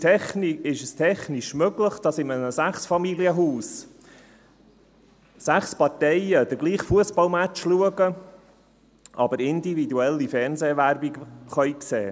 Heute ist es technisch möglich, dass in einem Sechsfamilienhaus sechs Parteien denselben Fussballmatch schauen, aber individuelle Fernsehwerbung sehen können.